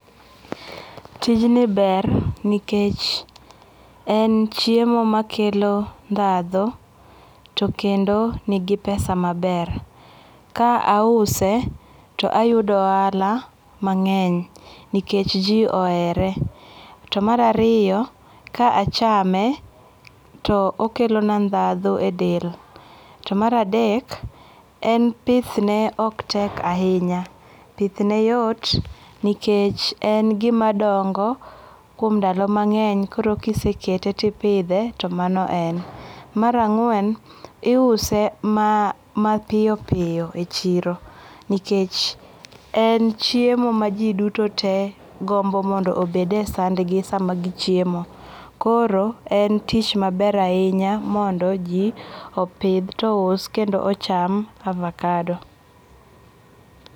Tijni ber nikech en chiemo makelo ndhadhu to kendo nigi pesa maber. Ka ause to ayudo ohala mang'eny nikech ji ohere. To mar ariyo, ka achame to okelona ndhadhu edel. To mar adek, en pithne ok tek ahinya. Pithne yot nikech en gima dongo kuom ndalo mang'eny koro kisekete, tipidhe, to mano en. Mar ang'wen, iuse maa mapiyo piyo e chiro nikech en chiemo maji dutote gombo mondo obed e sandgi sama gichiemo. Koro en tich maber ahinya mondo ji opidh, tom ous kendo ocham avokado.